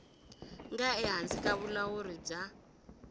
nga ehansi ka vulawuri bya